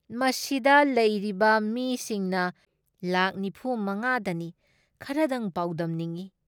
ꯃꯁꯤꯗ ꯂꯩꯔꯤꯕ ꯃꯤꯁꯤꯡꯅ ꯂꯥꯛ ꯅꯤꯐꯨ ꯃꯉꯥ ꯗꯅꯤ ꯈꯔꯗꯪ ꯄꯥꯎꯗꯝꯅꯤꯡ ꯫